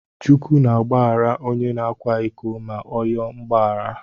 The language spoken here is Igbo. Chukwu na agbaghara ọnye na akwa iko ma ọ yoo mgbaghara.